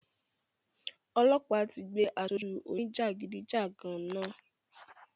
Ọlọ́pa tí gbé asoju òní jagidijagan náà